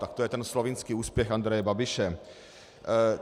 Tak to je ten slovinský úspěch Andreje Babiše.